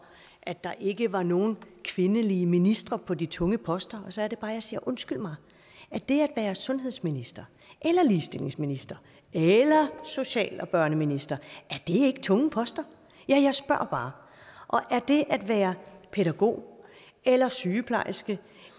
at der ikke var nogen kvindelige ministre på de tunge poster og så er det bare jeg siger undskyld mig er det at være sundhedsminister eller ligestillingsminister eller og socialminister ikke tunge poster ja jeg spørger bare og er det at være pædagog eller sygeplejerske